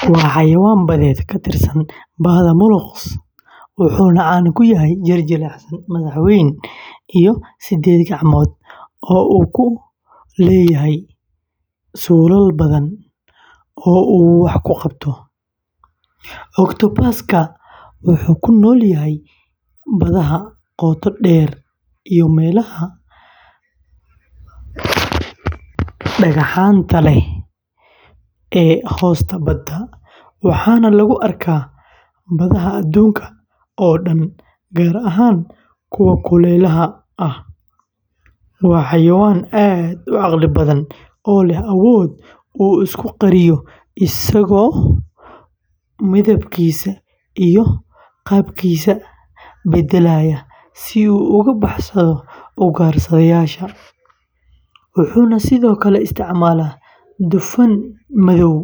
Waa xayawaan badeed ka tirsan bahda molusks, wuxuuna caan ku yahay jir jilicsan, madax weyn, iyo siddeed gacmood oo uu ku leeyahay suulal badan oo uu wax ku qabto. Octopus-ka wuxuu ku nool yahay badaha qoto dheer iyo meelaha dhagaxaanta leh ee hoosta badda, waxaana lagu arkaa badaha adduunka oo dhan, gaar ahaan kuwa kulaylaha ah. Waa xayawaan aad u caqli badan, oo leh awood uu isku qariyo isagoo midabkiisa iyo qaabkiisa beddelaya si uu uga baxsado ugaarsadayaasha. Wuxuu sidoo kale isticmaalaa dufan madow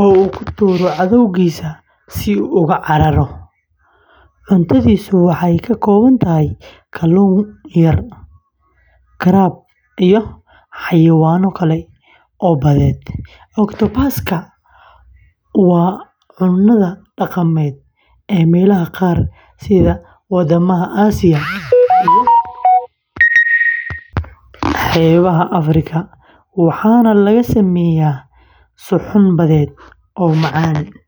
oo uu ku tuuro cadowgiisa si uu uga cararo. Cuntadiisu waxay ka kooban tahay kalluun yar, crab, iyo xayawaano kale oo badeed. Octopus-ka waa cunnada dhaqameed ee meelaha qaar sida waddamada Asia iyo xeebaha Afrika, waxaana laga sameeyaa suxuun badeed oo macaan.